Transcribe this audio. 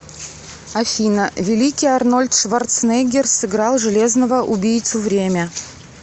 афина великий арнольд шварценеггер сыграл железного убийцу время